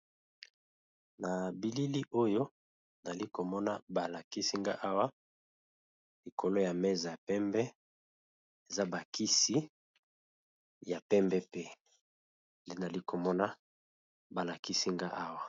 Na bilili oyo nali komona balakisi nga awa likolo ya meza ya pembe eza bakisi ya pembe pe nali komona balakisi nga awa.